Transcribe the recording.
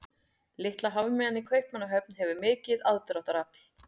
Litla hafmeyjan í Kaupmannahöfn hefur mikið aðdráttarafl.